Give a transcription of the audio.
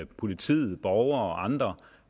politiet og andre